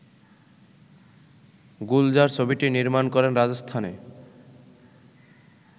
গুলজার ছবিটি নির্মাণ করেন রাজস্থানে